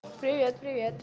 привет привет